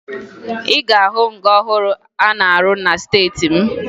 Ị ga-ahụ nga ọhụrụ a na-arụ na steeti m